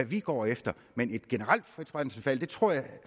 vi går efter men et generelt frit brændselsvalg tror jeg